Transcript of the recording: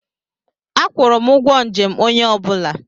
Akwụrụ m ụgwọ njem onye ọ bụla.